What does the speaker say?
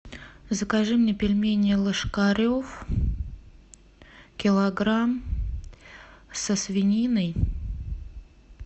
закажи мне пельмени ложкарев килограмм со свининой